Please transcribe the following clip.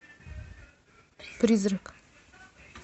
призрак